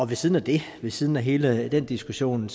ved siden af det ved siden af hele den diskussion